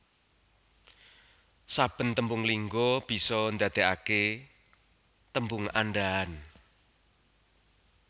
Saben tembung lingga bisa ndadekake tembung andhahan